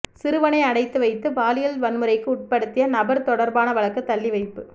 சிறுவனை அடைத்து வைத்து பாலியல் வன்முறைக்கு உட்படுத்திய நபர் தொடர்பான வழக்கு தள்ளிவைப்பு